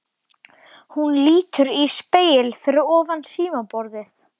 Hún lítur í spegil fyrir ofan símaborðið.